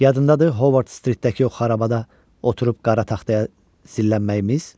Yadındadır Hovard Stritdəki xarabada oturub qara taxtaya zillənməyimiz?